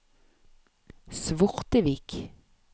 Svortevik